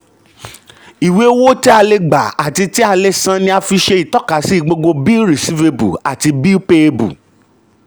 ìwé owó tí a lè gbà àti tí a lè san ni a fi ṣe ìtọ́kasì gbogbo bill receivable àti bill payable